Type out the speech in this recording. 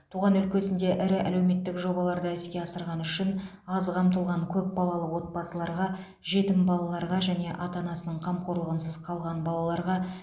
туған өлкесінде ірі әлеуметтік жобаларды іске асырғаны үшін аз қамтылған көп балалы отбасыларға жетім балаларға және ата анасының қамқорлығынсыз қалған балаларға